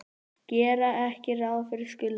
Gera ekki ráð fyrir skuldunum